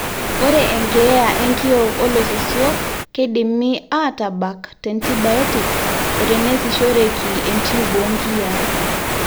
ore enkeeya enkiok olososio keidimi aatabak teantibiotics oteneesishoreki entube oonkiyiaa